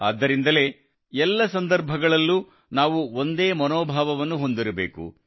ಆದ್ದರಿಂದಲೇ ಎಲ್ಲ ಸಂದರ್ಭದಲ್ಲೂ ನಾವು ಒಂದೇ ಮನೋಭಾವವನ್ನು ಹೊಂದಿರಬೇಕು